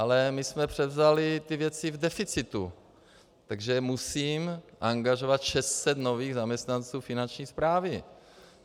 Ale my jsme převzali ty věci v deficitu, takže musím angažovat 600 nových zaměstnanců finanční správy.